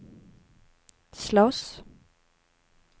slåss